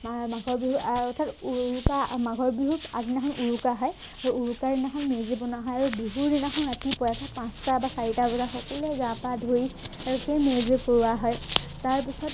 মা মাঘৰ বিহু আহ তাৰপাছত উৰুকা মাঘৰ বিহুত আগদিনাখন উৰুকা হয় সেই উৰুকাৰ দিনাখন মেজি বনোৱা হয় আৰু বিহুৰ দিনাখন ৰাতিপুৱাই সেই পাঁচটা বা চাৰিটা বজাত সকলোৱে গা পা ধুই সেইটোৱেই মেজি পুৱা হয় তাৰপাছত